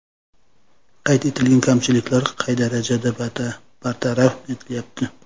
Qayd etilgan kamchiliklar qay darajada bartaraf etilyapti?